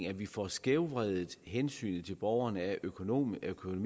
at vi får skævvredet hensynet til borgerne af økonomitænkning